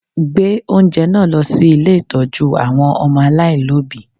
Gbé oúnjẹ náà lọ sí ilé ìtọ́jú àwọn ọmọ aláìlọ́bìí!